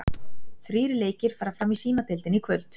Þrír leikir fara fram í Símadeildinni í kvöld.